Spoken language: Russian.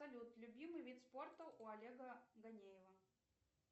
салют любимый вид спорта у олега ганеева